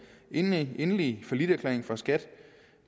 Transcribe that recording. endelige falliterklæring fra skat